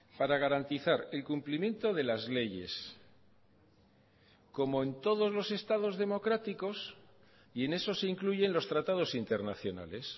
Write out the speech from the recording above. para garantizar el cumplimiento de las leyes como en todos los estados democráticos y en esos se incluyen los tratados internacionales